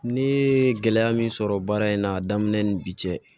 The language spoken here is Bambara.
Ne ye gɛlɛya min sɔrɔ baara in na daminɛ ni bi cɛ